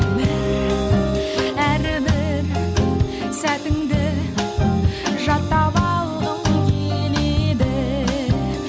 өмір әрбір сәтіңді жаттап алғым келеді